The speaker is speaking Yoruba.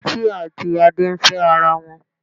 Títí àti Adé ń fẹ́ ara wọn.